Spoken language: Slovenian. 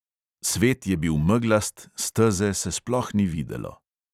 Svet je bil meglast, steze se sploh ni videlo.